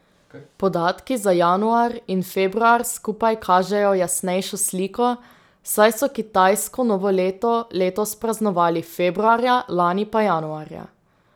Podatki za januar in februar skupaj kažejo jasnejšo sliko, saj so kitajsko novo leto letos praznovali februarja, lani pa januarja.